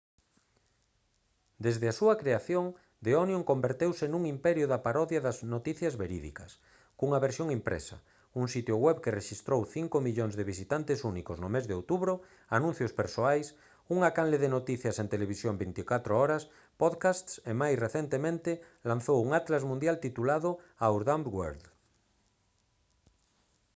desde a súa creación the onion converteuse nun imperio da parodia das noticias verídicas cunha versión impresa un sitio web que rexistrou 5 000 000 de visitantes únicos no mes de outubro anuncios persoais unha canle de noticias en televisión 24 horas podcasts e máis recentemente lanzou un atlas mundial titulado «our dumb world»